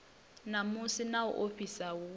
namusi na u ofhisa hu